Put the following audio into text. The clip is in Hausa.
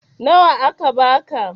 Nawa aka ba ka?